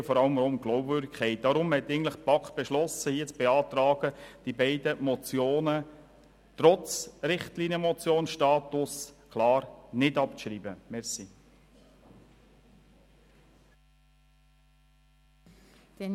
Deshalb hat die BaK hier zu beantragen beschlossen, diese beiden Motionen trotz ihres Status als Richtlinienmotionen nicht abzuschreiben.